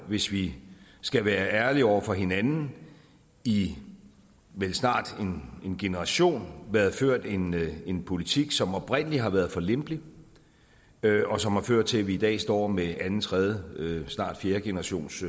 hvis vi skal være ærlige over for hinanden i vel snart en generation været ført en en politik som oprindelig har været for lempelig og som har ført til at vi i dag står med anden tredje og snart fjerde generations